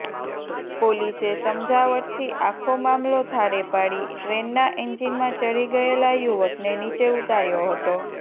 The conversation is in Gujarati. પોલીસે સમજાવટથી આખો મામલો થાળે પાડી ટ્રેનના એન્જિનમાં ચઢી ગયેલા યુવકને નીચે ઉતાર્યો હતો